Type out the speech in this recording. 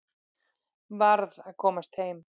Varð að komast heim.